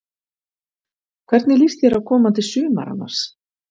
Hvernig líst þér á komandi sumar annars?